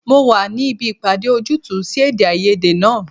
Mo wà níbi ìpàdé ojútùú sí èdè-áiyedé náà.